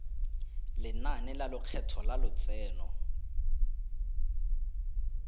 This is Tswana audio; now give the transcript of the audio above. lenane la lekgetho la lotseno